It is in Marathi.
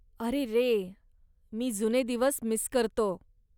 अरेरे, मी जुने दिवस मिस करतो.